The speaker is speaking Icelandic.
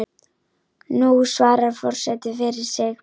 Nú svarar forseti fyrir sig.